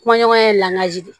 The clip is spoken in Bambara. Kɔɲɔ ye laji de ye